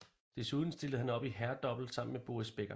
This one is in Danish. Desuden stillede han op i herredouble sammen med Boris Becker